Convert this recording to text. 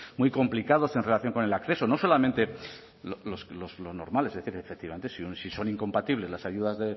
muy complicados en relación con el acceso no solamente los normales es decir efectivamente si son incompatibles las ayudas